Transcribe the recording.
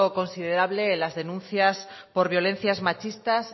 considerable de las denuncias por violencias machistas